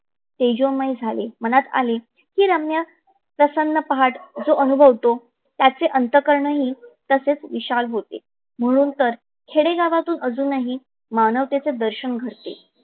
तेजोमय झाले. मनात आले कि ही रम्य प्रसन्न पहाट जो अनुभवतो त्याचे अंतकर्ण ही तसेच विशाल होते. म्हणून तर खेडे गावातून अजुनही मानवतेचे दर्शन घडते.